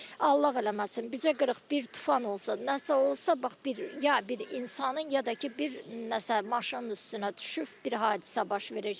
Allah eləməsin, bizə qırıq bir tufan olsa, nəsə olsa, bax bir ya bir insanın, ya da ki, bir nəsə maşının üstünə düşüb bir hadisə baş verəcək.